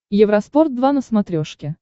евроспорт два на смотрешке